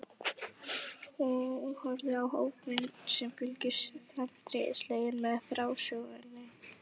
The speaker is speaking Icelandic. Hún horfði á hópinn sem fylgdist felmtri sleginn með frásögninni.